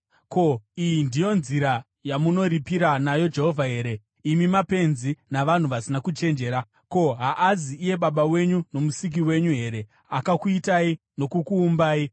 Ko, iyi ndiyo nzira yamunoripira nayo Jehovha here, imi mapenzi navanhu vasina kuchenjera? Ko, haazi iye Baba wenyu, noMusiki wenyu here, akakuitai nokukuumbai?